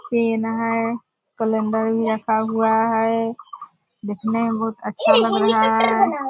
Pen है हुआ है दिखने में बहुत अच्छा लग रहा है ।